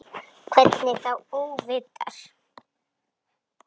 Hvernig þá óvitar?